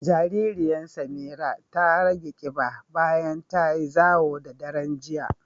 Jaririyan Samira ta rage ƙiɓa bayan tayi zawo da daren jiya.